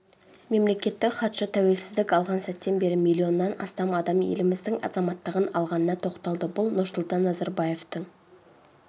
мемлекеттік хатшы тәуелсіздік алған сәттен бері миллионнан астам адам еліміздің азаматтығын алғанына тоқталды бұл нұрсұлтан назарбаевтың